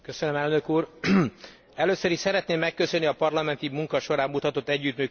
Először is, szeretném megköszönni a parlamenti munka során mutatott együttműködést Rapkay kollégámnak.